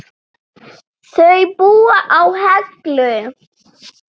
Þau búa á Hellu.